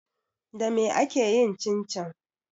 Dame ake yin cincin?